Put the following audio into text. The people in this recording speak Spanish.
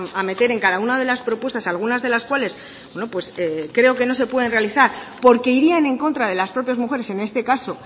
a meter en cada una de las propuestas algunas de las cuales creo que no se pueden realizar porque irían en contra de las propias mujeres en este caso